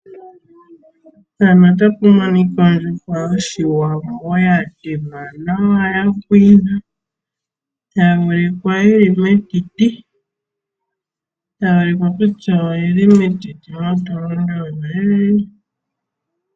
Mpano otapu monika ondjuhwa yoshiwambo ya temwa nawa ya pwina. Tayi ulikwa yili metiti. Tayi ulikwa kutya oyili metiti ya tulwa omagadhi goongongo.